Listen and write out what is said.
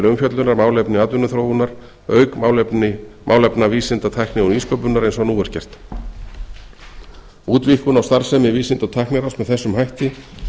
umfjöllunar málefni atvinnuþróunar auk málefna vísinda tækni og nýsköpunar eins og nú útvíkkun á starfsemi vísinda og tækniráðs með þessum hætti